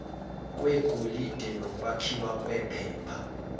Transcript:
kwegolide nokwakhiwa kwephepha